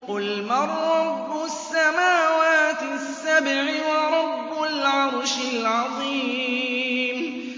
قُلْ مَن رَّبُّ السَّمَاوَاتِ السَّبْعِ وَرَبُّ الْعَرْشِ الْعَظِيمِ